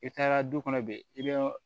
I taara du kɔnɔ bi i bɛ